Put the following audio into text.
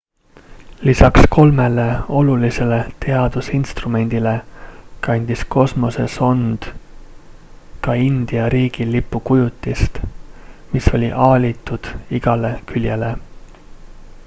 lisaks kolmele olulisele teadusinstrumendile kandis kosmosesond ka india riigilipu kujutist mis oli aalitud igale küljele